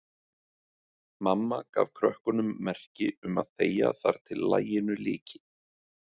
Mamma gaf krökkunum merki um að þegja þar til laginu lyki.